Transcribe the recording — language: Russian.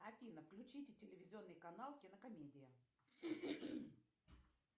афина включите телевизионный канал кинокомедия